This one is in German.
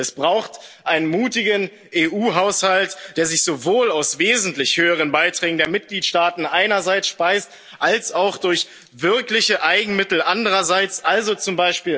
eine politische. Es braucht einen mutigen EU Haushalt, der sich sowohl aus wesentlich höheren Beiträgen der Mitgliedstaaten einerseits speist als auch durch wirkliche Eigenmittel andererseits,